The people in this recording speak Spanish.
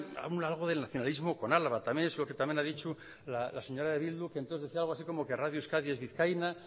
un algo del nacionalismo con álava también eso que también ha dicho la señora de bildu que entonces decía algo así como que radio euskadi es vizcaína